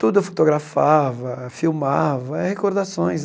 Tudo eu fotografava, filmava, é recordações.